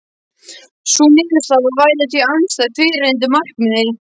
Sú niðurstaða væri því andstæð fyrrgreindu markmiði.